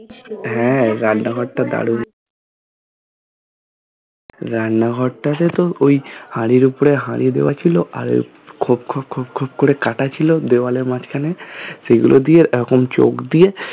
হ্যাঁ রান্না ঘর তো ভালোই রান্না ঘরটা তো আসলে ওই হাঁড়ির উপর হাঁড়ি দেওয়া ছিল আর খোপ খোপ খোপ খোপ করে কাটা ছিল দেওয়ালের মাঝখানে সেগুলো দিয়ে এখন চোখ দিয়ে